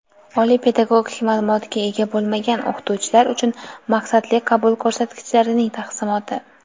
Oliy pedagogik ma’lumotga ega bo‘lmagan o‘qituvchilar uchun maqsadli qabul ko‘rsatkichlarining taqsimoti.